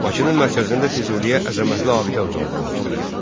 Bakının mərkəzində Füzuliyə əzəmətli abidə ucaldılmışdır.